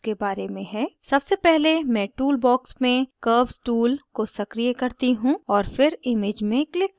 सबसे पहले मैं tool box में curves tool को सक्रीय करती हूँ और फिर image में click करती हूँ